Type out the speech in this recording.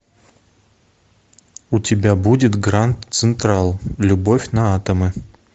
у тебя будет гранд централ любовь на атомы